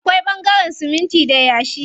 Akwai ɓangaren siminti da yashi.